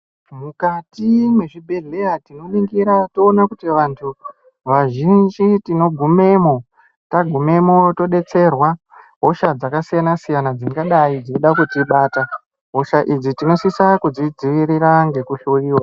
Mukati mezvibhedheya tinoningira toona kuti vazhinji tinogumemwo tagumwemwo todetserwa hosha dzakasiyana siyana dzingadai dzeyida kutibata hosha idzi tinosisa kudzidzvivirira ngekuhloyiwa.